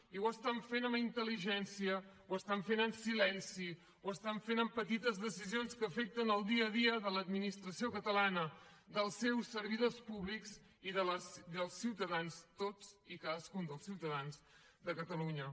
i ho estan fent amb intel·ligència ho estan fent amb silenci ho estan fent amb petites decisions que afecten el dia a dia de l’administració catalana dels seus servidors públics i dels ciutadans tots i cadascun dels ciutadans de catalunya